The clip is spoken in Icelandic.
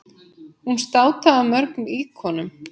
Hún státaði af mörgum íkonum.